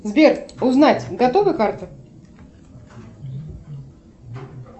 сбер узнать готова карта